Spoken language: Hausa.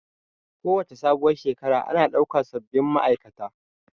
Kowace sabuwar Shekara ana ɗaukan sabin ma'aikata